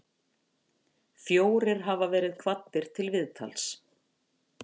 Fjórir hafa verið kvaddir til viðtals